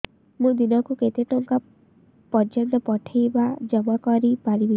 ମୁ ଦିନକୁ କେତେ ଟଙ୍କା ପର୍ଯ୍ୟନ୍ତ ପଠେଇ ବା ଜମା କରି ପାରିବି